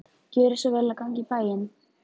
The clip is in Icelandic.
Gjörið svo vel að ganga í bæinn.